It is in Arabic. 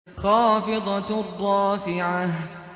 خَافِضَةٌ رَّافِعَةٌ